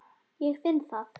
Ég finn það.